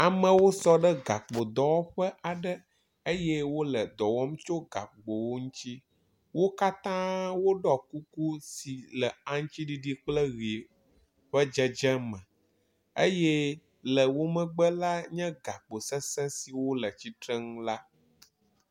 Amewo sɔ ɖe gakpodɔwɔƒe aɖe eye wo le dɔ wɔm tso gakpowo ŋutsi. Wo katã wo ɖɔ kuku si le aŋtsiɖiɖi kple ʋi ƒe dzedzeme eye le wo megbe la, nye gakpo sese siwo le tsitre nu la.